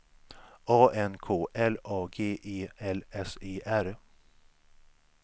A N K L A G E L S E R